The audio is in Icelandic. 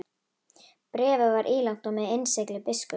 Bréfið var ílangt og með innsigli biskups.